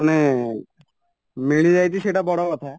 ମାନେ ମିଳିଯାଇଛି ସେଇଟା ବଡ଼କଥା